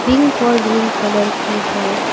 Pink और green colour की है।